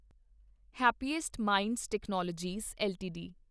happiest minds technologies LTD